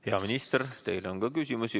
Hea minister, teile on ka küsimusi.